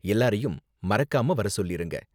எல்லாரையும் மறக்காம வர சொல்லிருங்க.